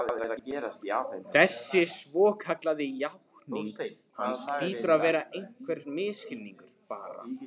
Þessi svokallaða játning hans hlýtur að vera einhver misskilningur, bara